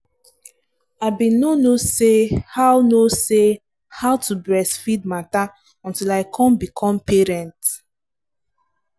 i been no no say how no say how to breastfeed matter until i come become parent.